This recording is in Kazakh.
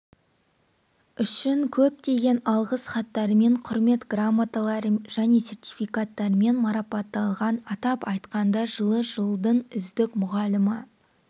үшін көптеген алғыс хаттармен құрмет грамоталары және сертификаттармен марапатталған атап айтқанда жылы жылдың үздік мұғалімі